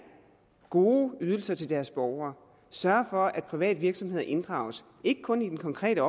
gode ydelser til deres borgere sørge for at private virksomheder inddrages ikke kun i den konkrete